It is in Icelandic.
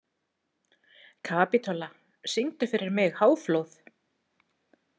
Kapitola, syngdu fyrir mig „Háflóð“.